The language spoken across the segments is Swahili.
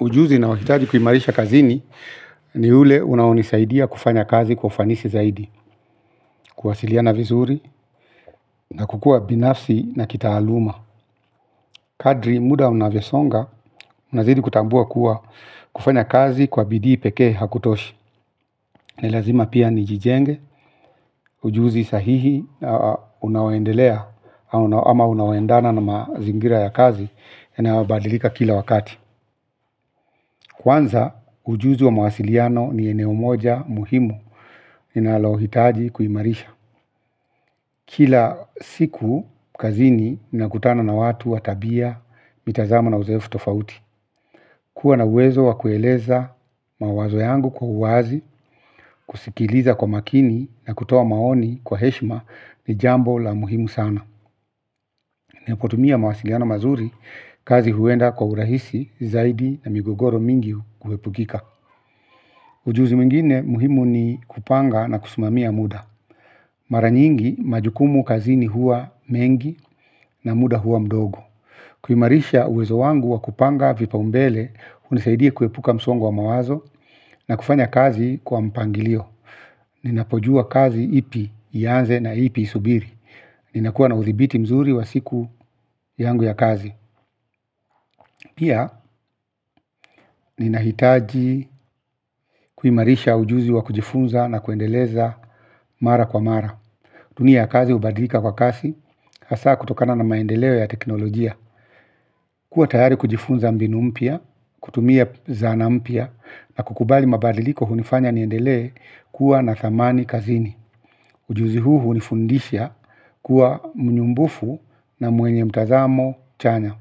Ujuzi ninaohitaji kuimarisha kazini ni ule unaonisaidia kufanya kazi kwa ufanisi zaidi. Kuwasiliana vizuri na kukua binafsi na kitaaluma. Kadri muda unavyosonga unazidi kutambua kuwa kufanya kazi kwa bidii pekee hakutoshi. Ni lazima pia nijijenge ujuzi sahihi unaoendelea ama unaoendana na mazingira ya kazi yanayobadilika kila wakati. Kwanza ujuzi wa mawasiliano ni eneo moja muhimu ninalohitaji kuimarisha. Kila siku kazini nakutana na watu wa tabia, mitazamo na uzoefu tofauti. Kuwa na uwezo wa kueleza mawazo yangu kwa uwazi, kusikiliza kwa makini na kutoa maoni kwa heshma ni jambo la muhimu sana. Nikitumia mawasiliano mazuri kazi huenda kwa urahisi zaidi na migogoro mingiu huepukika. Ujuzi mwingine muhimu ni kupanga na kusimamia muda. Mara nyingi majukumu kazini huwa mengi na muda huwa mdogo. Kuimarisha uwezo wangu wa kupanga vipaumbele hunisaidia kuepuka msongo wa mawazo na kufanya kazi kwa mpangilio. Ninapojua kazi ipi ianze na ipi isubiri. Ninakuwa na uthibiti mzuri wa siku yangu ya kazi. Pia ninahitaji kuimarisha ujuzi wa kujifunza na kuendeleza mara kwa mara. Dunia ya kazi hubadilika kwa kasi, hasa kutokana na maendeleo ya teknolojia. Kuwa tayari kujifunza mbinu mpya, kutumia zana mpya, na kukubali mabadiliko hunifanya niendelee kuwa na thamani kazini. Ujuzi huu hunifundisha kuwa muumbufu na mwenye mtazamo chanya.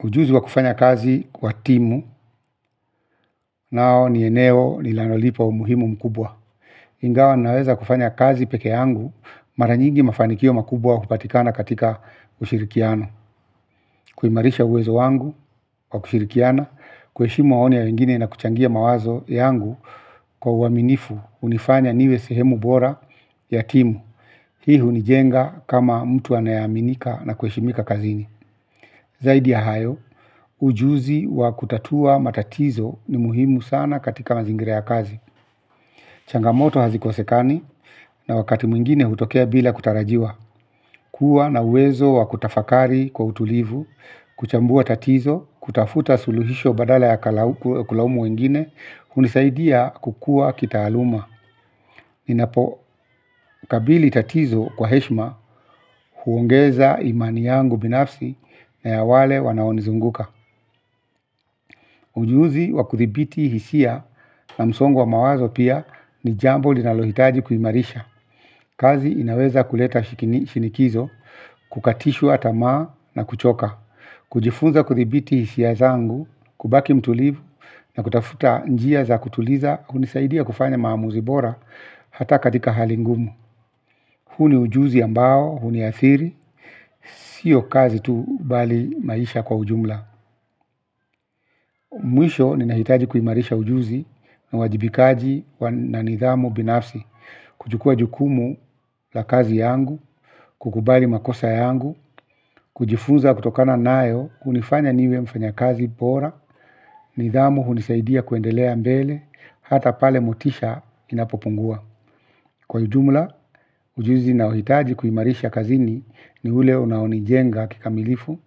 Ujuzi wa kufanya kazi kwa timu nao ni eneo nilanolipa umuhimu mkubwa. Ingawa naweza kufanya kazi peke yangu mara nyingi mafanikio makubwa hupatikana katika ushirikiano. Kuimarisha uwezo wangu kwa kushirikiana, kueshimu maoni ya wengine na kuchangia mawazo yangu kwa uaminifu hunifanya niwe sehemu bora ya timu. Hii hunijenga kama mtu anayeaminika na kuheshimika kazini. Zaidi ya hayo, ujuzi wa kutatua matatizo ni muhimu sana katika mazingira ya kazi. Changamoto hazikosekani na wakati mwingine hutokea bila kutarajiwa. Kuwa na uwezo wakutafakari kwa utulivu, kuchambua tatizo, kutafuta suluhisho badala ya kulaumu wengine, hunisaidia kukua kitaaluma. Ninapo kabili tatizo kwa heshima huongeza imani yangu binafsi na ya wale wanaonizunguka. Ujuzi wa kuthibiti hisia na msongwa mawazo pia ni jambo linalohitaji kuhimarisha. Kazi inaweza kuleta shinikizo, kukatishwa tamaa na kuchoka. Kujifunza kuthibiti hisia zangu, kubaki mtulivu na kutafuta njia za kutuliza, hunisaidia kufanya maamuzibora hata katika hali ngumu. Huu ni ujuzi ambao, huniathiri, siyo kazi tu bali maisha kwa ujumla. Mwisho ninahitaji kuimarisha ujuzi na uwajibikaji na nidhamu binafsi, kujukua jukumu la kazi yangu, kukubali makosa yangu, kujifunza kutokana nayo, hunifanya niwe mfanyakazi bora, nidhamu hunisaidia kuendelea mbele, hata pale motisha inapopungua. Kwa ujumla, ujuzi ninaohitaji kuiimarisha kazini ni ule unaonijenga kikamilifu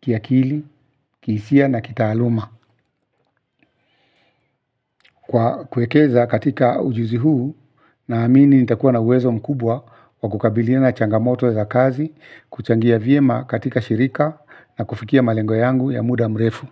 kiakili, kihisia na kitaaluma. Kwa kuwekeza katika ujuzi huu, naamini nitakuwa na uwezo mkubwa wa kukabilina na changamoto za kazi, kuchangia vyema katika shirika na kufikia malengo yangu ya muda mrefu.